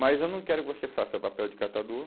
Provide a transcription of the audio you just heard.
Mas eu não quero que você faça papel de catador.